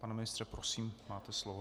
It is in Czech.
Pane ministře, prosím, máte slovo.